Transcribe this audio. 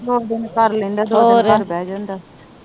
ਕੰਮ-ਕੁਮ ਕਰ ਲੈਂਦਾ ਵਾ, ਦੋ ਦਿਨ ਲੈ ਕੇ ਬਹਿ ਜਾਂਦਾ ਵਾ